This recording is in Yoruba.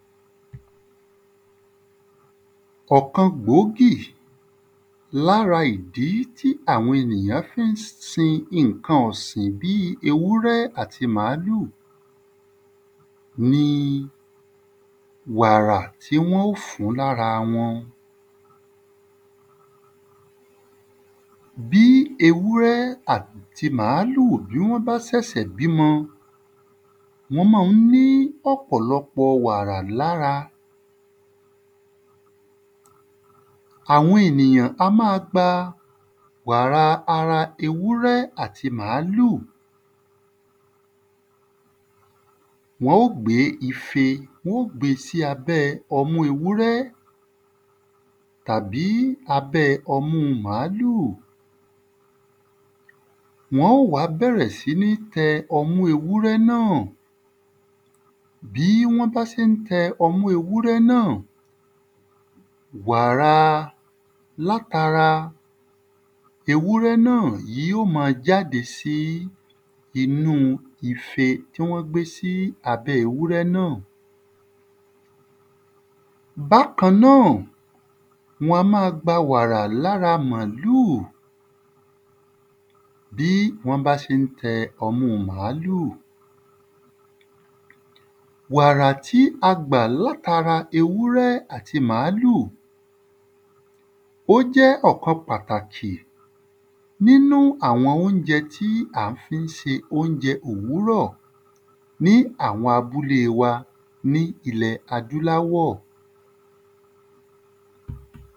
Ọ̀kan gbòógì l'ára ìdí tí àwọn èyàn fí ń sin ìnkan ọ̀sìn bí i ewúrẹ́ àti màlúù ni wàrà tí wọ́n ó fún l'ára wọn. Bí ewúrẹ́ àti màlúù bí wọ́n sèsè bí 'mọ, wọ́n ma ń ní ọ̀pọ̀lọpọ̀ wàrà l'ára. Àwọn ènìyàn á má a gba wàra ewúrẹ́ àti màlúù Wọ́n ó gbé ife. Wọ́n ó gbé sí abẹ́ ọmú ewúrẹ́ tàbí abẹ́ ọmú màlúù. Wọ́n ó wá bẹ̀rẹ̀ sí ní tẹ ọmú ewúrẹ́ náà. Bí wọ́n bá sé ń tẹ ọmú ewúrẹ́ náà, wàra l'át’ara ewúrẹ́ náà yí ó ma jáde sí inú ife tí wọ́n gbé sí abẹ́ ewúrẹ́ náà. Bákan náà, wọn a má a gba wàrà l'ára màlúù bí wọn bá ṣé ń tẹ ọmú màlúù Wàra` tí a gbà l'át’ara ewúrẹ́ àti màlúù Ó jẹ́ ọ̀kan pàtàkì n'ínú àwọn óunjẹ tí a fí ń se óunjẹ òwúrọ̀. ní àwọn abúlé wa ní ilẹ̀ adúláwọ̀